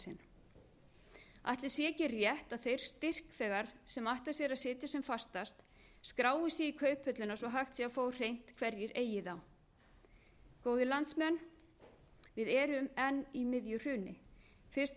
sinn ætli sé ekki rétt að þeir styrkþegar sem ætla sér að sitja sem fastast skrái sig í kauphöllina svo hægt sé að fá á hreint hverjir eigi þá góðir landsmenn við erum enn í miðju hruni fyrst